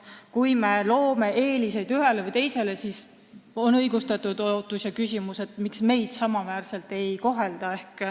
Kui me loome eeliseid ühele või teisele, siis tekib teistel õigustatud küsimus, miks neid samaväärselt ei kohelda.